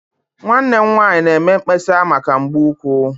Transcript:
Nwanne m nwanyị na-eme mkpesa maka mgbu ụkwụ.